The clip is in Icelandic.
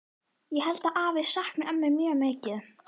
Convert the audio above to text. Ég held að afi sakni ömmu mjög mikið.